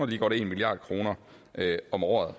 lige godt en milliard kroner om året